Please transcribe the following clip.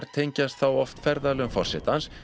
tengjast þá oft ferðalögum forsetans